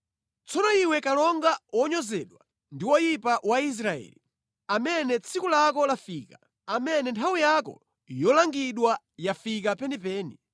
“ ‘Tsono iwe kalonga wonyozedwa ndi woyipa wa Israeli, amene tsiku lako lafika, amene nthawi yako yolangidwa yafika penipeni,